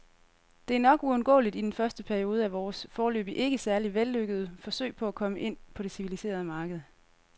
Det er nok uundgåeligt i den første periode af vores, foreløbig ikke særlig vellykkede, forsøg på at komme ind på det civiliserede marked.